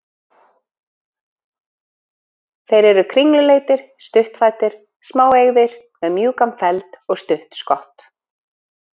Þeir eru kringluleitir, stuttfættir, smáeygðir, með mjúkan feld og stutt skott.